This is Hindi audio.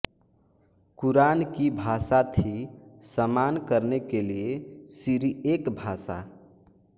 कुरान की भाषा थी समान करने के लिए सिरिएक भाषा